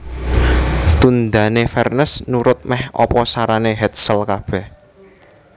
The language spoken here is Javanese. Tundhané Vernes nurut mèh apa sarané Hetzel kabèh